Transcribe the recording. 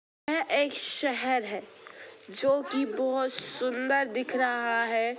यहा एक शहर है जो की बहुत सुंदर दिख रहा है।